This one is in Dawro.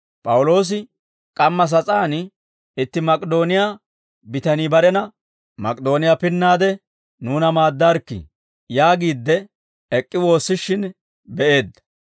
P'awuloosi k'amma sas'aan itti Mak'idooniyaa bitanii barena, «Mak'idooniyaa pinnaade nuuna maaddaarikkii» yaagiidde ek'k'i woossishin be'eedda.